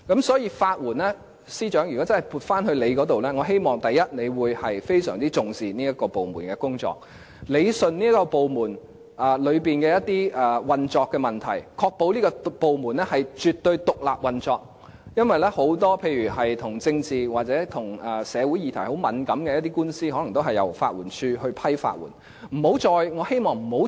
所以，司長，如果法援署撥歸政務司司長負責，我希望他會非常重視這個部門的工作，理順這個部門內的一些運作問題，確保這個部門絕對獨立運作，因為很多個案，例如與政治或與很敏感的社會議題有關的官司，可能也是由法援署來審批法律援助申請。